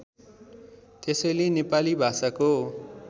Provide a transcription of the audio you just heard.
त्यसैले नेपाली भाषाको